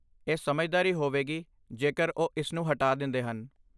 ਇਹ ਸਮਝਦਾਰੀ ਹੋਵੇਗੀ ਜੇਕਰ ਉਹ ਇਸਨੂੰ ਹਟਾ ਦਿੰਦੇ ਹਨ।